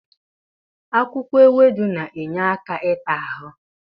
Akwụkwọ ewedu na-enye aka ịta ahụ.